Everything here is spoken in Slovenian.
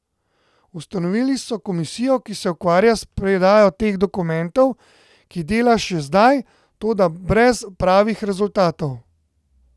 Ustanovili so komisijo, ki se ukvarja s predajo teh dokumentov, ki dela še zdaj, toda brez pravih rezultatov.